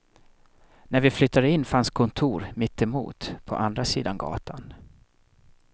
När vi flyttade in fanns kontor mitt emot, på andra sidan gatan.